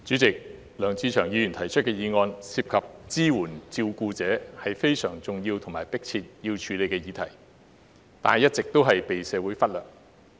主席，梁志祥議員提出的議案涉及支援照顧者，是非常重要且有迫切需要處理的議題，但一直被社會忽略。